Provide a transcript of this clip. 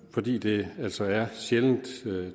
fordi det altså er sjældent